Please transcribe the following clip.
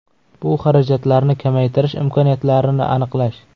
Bu xarajatlarni kamaytirish imkoniyatlarini aniqlash.